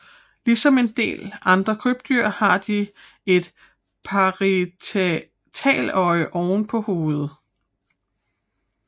Ligesom en del andre krybdyr har de et parietaløje oven på hovedet